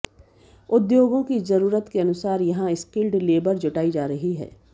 उद्योगों की जरूरत के अनुसार यहां स्किल्ड लेबर जुटाई जा रही है